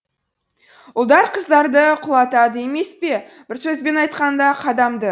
ұлдар қыздарды құлатады емес пе бір сөзбен айтқанда қадамды